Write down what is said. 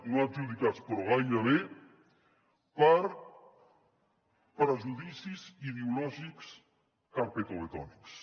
no adjudicats però gairebé per prejudicis ideològics carpetovetònics